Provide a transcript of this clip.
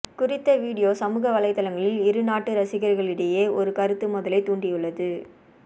குறித்த வீடியோ சமூக வலைதளங்களில் இரு நாட்டு ரசிகர்களிடையே ஒரு கருத்து மோதலை தூண்டியுள்ளது